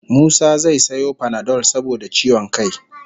Musa zai sayo panadol saboda ciwon kai